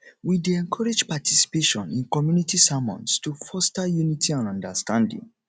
we dey encourage participation in community sermons to foster unity and understanding